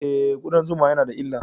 E, kudan zuma na da illa.